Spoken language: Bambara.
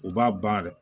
U b'a ban dɛ